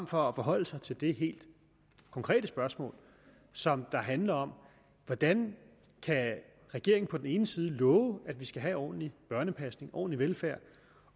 for at forholde sig til det helt konkrete spørgsmål som handler om hvordan regeringen på den ene side kan love at vi skal have ordentlig børnepasning ordentlig velfærd